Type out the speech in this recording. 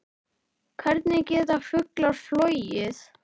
Hvernig geta fuglar flogið?